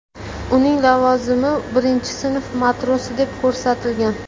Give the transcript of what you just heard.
Uning lavozimi birinchi sinf matrosi deb ko‘rsatilgan .